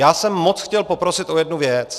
Já jsem moc chtěl poprosit o jednu věc.